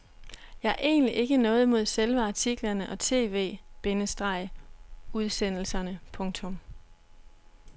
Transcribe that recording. Jeg har egentlig ikke noget imod selve artiklerne og tv- bindestreg udsendelserne. punktum